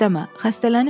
Xəstələnib eləmə.